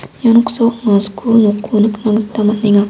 ia noksao anga skul nokko nikna gita man·enga.